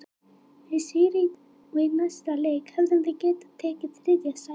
Með sigri í dag og í næsta leik hefðum við getað tekið þriðja sætið.